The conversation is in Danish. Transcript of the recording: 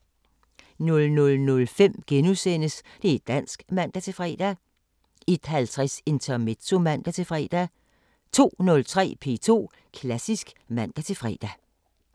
00:05: Det´ dansk *(man-fre) 01:50: Intermezzo (man-fre) 02:03: P2 Klassisk (man-fre)